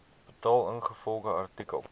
betaal ingevolge artikel